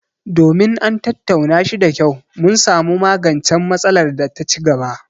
Domin an tattauna shi da kyau, mun samu magancen matsalar da ta ci gaba;